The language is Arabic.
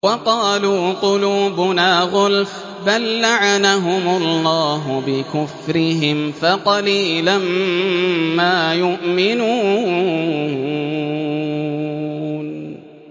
وَقَالُوا قُلُوبُنَا غُلْفٌ ۚ بَل لَّعَنَهُمُ اللَّهُ بِكُفْرِهِمْ فَقَلِيلًا مَّا يُؤْمِنُونَ